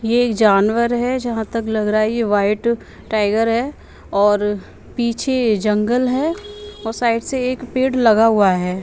ये जानवर है जहाँ तक लग रहा है ये वाइट टाइगर है और पीछे जंगल है और साइड से एक पेड़ लगा हुआ है।